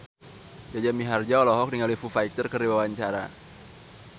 Jaja Mihardja olohok ningali Foo Fighter keur diwawancara